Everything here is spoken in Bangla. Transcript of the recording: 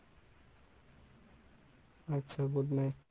আচ্ছা good night.